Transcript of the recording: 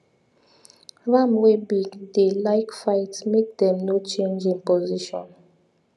ram wey big dey like fight make them no change him position